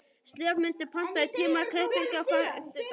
slefmundur, pantaðu tíma í klippingu á fimmtudaginn.